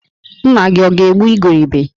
Nna-gi ọ̀ ga-egbu igurube?